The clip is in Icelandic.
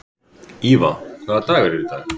Íva, hvaða dagur er í dag?